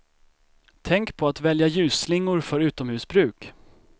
Tänk på att välja ljusslingor för utomhusbruk.